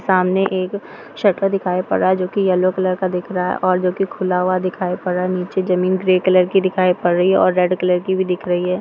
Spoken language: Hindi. सामने एक शटर दिखाई पड़ रहा है जॉकी येलो कलर का दिख रहा है और जॉकी खुला हुआ दिखाई पड़ रहा है नीचे ज़मीन ग्रे कलर की दिखाई पड़ रही है और रेड कलर की भी दिख रही है।